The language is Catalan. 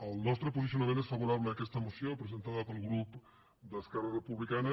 el nostre posicionament és favorable a aquesta moció presentada pel grup d’esquerra republicana